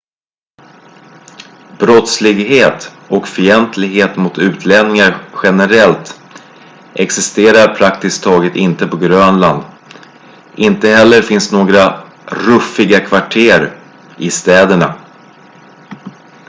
"brottslighet och fientlighet mot utlänningar generellt existerar praktiskt taget inte på grönland. inte heller finns några "ruffiga kvarter" i städerna.